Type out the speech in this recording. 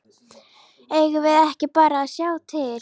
Eigum við ekki bara að sjá til?